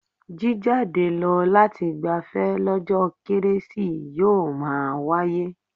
Jíjade lọ lati gbafẹ́ lọ́jọ́ kérésì yóò máa wáyé.